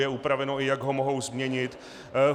Je upraveno, i jak ho mohou změnit.